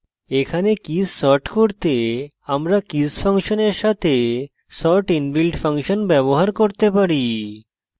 এখানে keys sort করতে আমরা কীস ফাংশনের সাথে sort inbuilt ফাংশন ব্যবহার করতে পারি